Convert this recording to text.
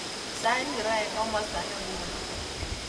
Sait ngiro eng komosta ni nguno